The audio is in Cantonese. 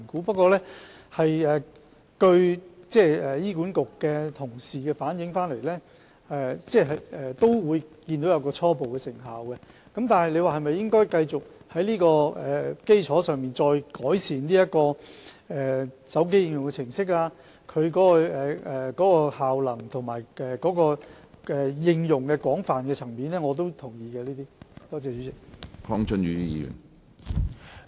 不過，根據醫管局同事反映，他們看到有初步的成效，對於應否繼續在這基礎上改善手機應用程式及效能，以及擴闊應用層面等，我也同意是可以考慮的。